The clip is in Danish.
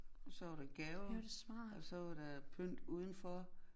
Og så var der gaver og så var der pynt udenfor